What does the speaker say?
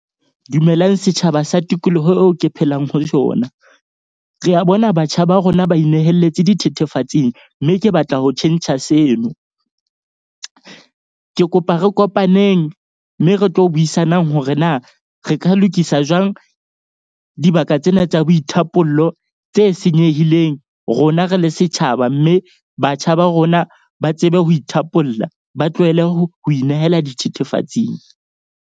Dumelang setjhaba sa tikoloho eo ke phelang ho sona. Re a bona batjha ba rona ba inehelletse dithethefatsing. Mme ke batla ho tjhentjha seno. Ke kopa re kopaneng mme re tlo buisanang ho hore na re ka lokisa jwang dibaka tsena tsa boithapollo tse senyehileng, rona re le setjhaba. Mme batjha ba rona ba tsebe ho ithapolla, ba tlohele ho inehela dithethefatsing.